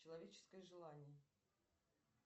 человеческое желание